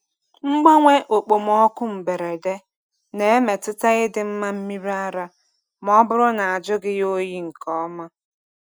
Mgbanwe okpomọkụ mberede na-emetụta ịdị mma mmiri ara ma ọ bụrụ na ejughị ya oyi nke ọma.